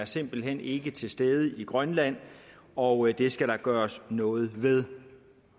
simpelt hen ikke er til stede i grønland og det skal der gøres noget ved